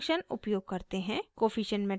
coefficient matrix